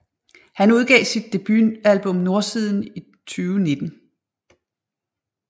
Han udgav sit debutalbum Nordsiden i 2019